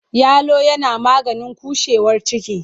Yalo yana maganin cushewar ciki.